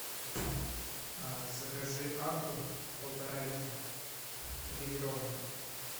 закажи акву полтора литра негазированную